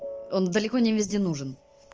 он далеко не везде нужен